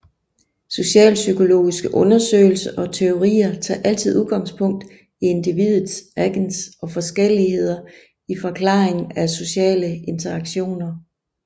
Socialpsykologiske undersøgelser og teorier tager altid udgangspunkt i individet agens og forskelligheder i forklaringen af sociale interaktioner